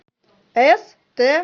ст